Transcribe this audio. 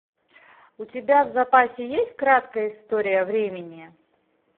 у тебя в запасе есть краткая история времени